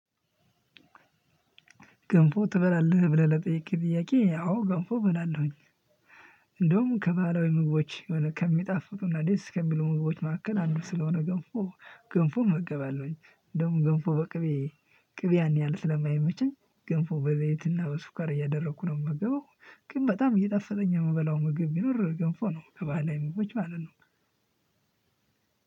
ገንፎ ትበላለህ ብለህ ለጠየቅክኝ ጥያቄ አዎ ገንፎ እበላለሁኝ። እንደውም ከባህላዊ ምግቦች ከሚጣፍጡና ደስ ከሚለው ምግቦች መካከል አንዱ ስለሆነ ገንፎ ገንፎ እመገባለሁኝ። እንደውም ግንፎ በቅቤ ቅቤ ያን ያህል ስለማይመቸኝ ግንፎ በዘይትና በሱኳር እያደረኩ ነው የምገባው። ግን በጣም እየጣፈጠኝ የምበላው ምግብ ቢኖር ገንፎ ነው ከባህላዊ ምግቦች ማለት ነው።